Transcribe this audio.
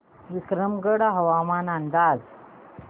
विक्रमगड हवामान अंदाज